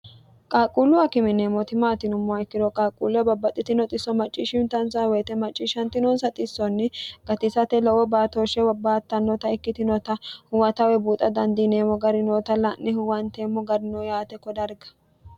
qaaqquullu akimi yineemmooti maati yinummoa ikkiro qaaqquulluwa babbaxxitinoxisso macciishshintansa woyite macciishshantinoonsa xissonni gatisate loo baatooshshe wabbaattannota ikkitinota huwatawe buuxa dandiineemmo garinoota la'ne huwanteemmo garinoo yaate kodarga